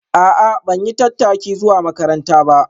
A'a ban yi tattaki zuwa makaranta ba